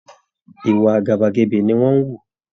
Ìwà àgàbàgebè ni wọ́n ń hù